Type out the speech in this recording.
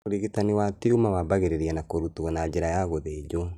ũrigitani wa tuma wambagĩrĩria na kũrutwo na njĩra ya gũthĩnjwo